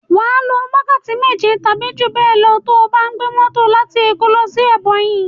Wà á lo wákàtí méje tàbí jú bẹ́è lọ to bá gbé mọ́tò láti Èkó lọ sí Ẹbọnyi.